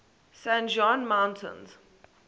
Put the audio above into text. san juan mountains